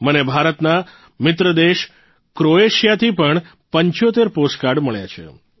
મને ભારતના મિત્ર દેશ ક્રોએશિયાથી પણ ૭૫ પોસ્ટકાર્ડ મળ્યા છે